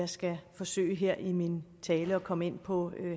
skal forsøge her i min tale at komme ind på